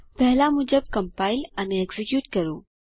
પહેલા મુજબ કમ્પાઈલ અને એક્ઝીક્યુટ કરો